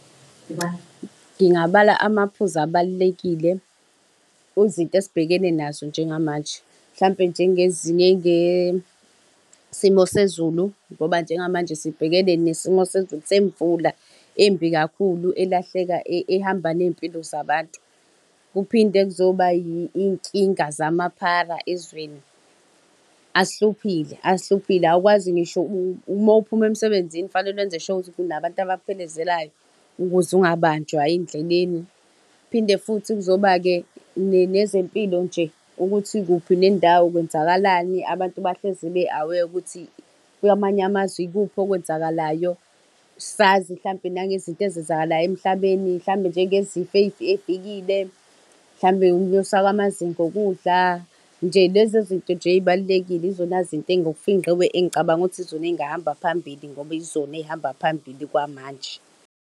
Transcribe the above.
Ngingabala amaphuzu abalulekile, izinto esibhekene nazo njengamanje. Mhlampe njengezinye njengesimo sezulu, ngoba njengamanje sibhekene nesimo sezulu semvula embi kakhulu, elahleka, ehamba ney'mpilo zabantu. Kuphinde kuzoba iy'nkinga zamaphara ezweni. Asihluphile, ahluphile, awukwazi ngisho , mawuphuma emsebenzini fanele wenze sure ukuthi kunabantu abakuphelezelayo, ukuze ungabanjwa endleleni. Phinde futhi kuzoba-ke nezempilo nje, ukuthi kuphi nendawo kwenzakalani, abantu bahlezi be-aware ukuthi kwamanye amazwe ikuphi okwenzakalayo. Sazi hlampe nangezinto ezenzakalayo emhlabeni, hlampe njengezifo ey'fikile. Mhlampe ukunyuswa kwamazinga okudla, nje lezi zinto nje ey'balulekile yizona zinto ngokufingqiwe engicabanga ukuthi izona ey'ngahamba phambili, ngoba yizona ezihamba phambili kwamanje.